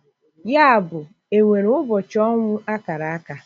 Ya bụ, e nwere "ubochi ọnwụ akara aka?"